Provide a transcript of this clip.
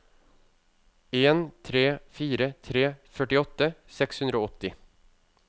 en tre fire tre førtiåtte seks hundre og åtti